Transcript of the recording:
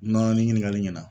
nin ɲininkali ɲɛna